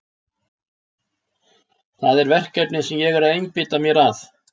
Það er verkefnið sem ég er að einbeita mér að.